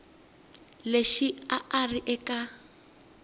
lexi a a ri eka